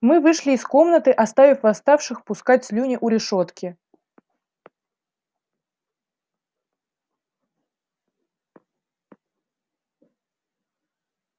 мы вышли из комнаты оставив восставших пускать слюни у решётки